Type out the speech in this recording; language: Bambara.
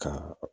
Ka